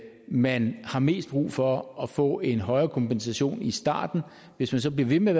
man har mest brug for at få en højere kompensation i starten hvis man så bliver ved med